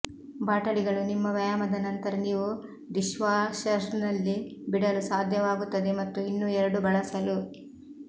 ಬಾಟಲಿಗಳು ನಿಮ್ಮ ವ್ಯಾಯಾಮದ ನಂತರ ನೀವು ಡಿಶ್ವಾಶರ್ನಲ್ಲಿ ಬಿಡಲು ಸಾಧ್ಯವಾಗುತ್ತದೆ ಮತ್ತು ಇನ್ನೂ ಎರಡು ಬಳಸಲು